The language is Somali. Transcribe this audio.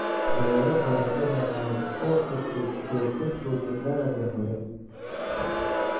Beero baradho macaan oo cusub oo ka fog dalagga hore"